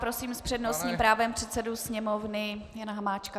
Prosím s přednostním právem předsedu Sněmovny Jana Hamáčka.